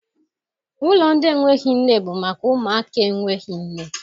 Ụlọ ndị enweghị nne bụ maka ụmụaka enweghị nne.